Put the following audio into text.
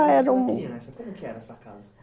Ah, era um... Como que era essa casa?